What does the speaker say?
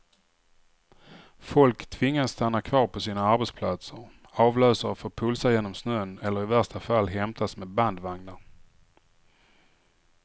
Folk tvingas stanna kvar på sina arbetsplatser, avlösare får pulsa genom snön eller i värsta fall hämtas med bandvagnar.